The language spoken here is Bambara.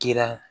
Kira